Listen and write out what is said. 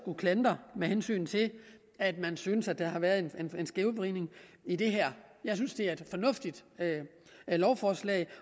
med hensyn til at man synes at der har været en skævvridning i det her jeg synes det er et fornuftigt lovforslag